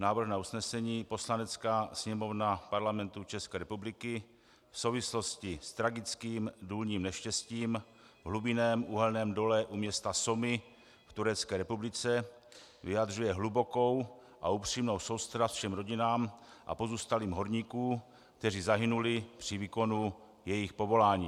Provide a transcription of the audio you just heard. Návrh na usnesení: "Poslanecká sněmovna Parlamentu České republiky v souvislosti s tragickým důlním neštěstím v hlubinném uhelném dole u města Soma v Turecké republice vyjadřuje hlubokou a upřímnou soustrast všem rodinám a pozůstalým horníků, kteří zahynuli při výkonu jejich povolání."